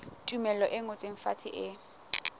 tumello e ngotsweng fatshe e